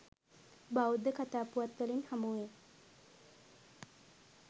බෞද්ධ කථා පුවත් වලින් හමුවේ.